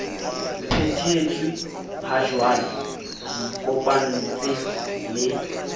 phethetswe hajwale re ikopantse le